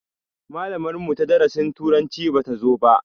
Malamar mu ta darasin turanci bata zo ba